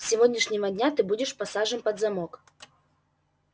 с сегодняшнего дня ты будешь посажен под замок